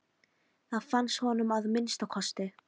Það fannst honum að minnsta kosti.